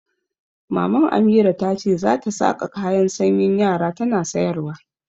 Maman Amira ta ce za ta saƙa kayan sanyin yara tana sayarwa.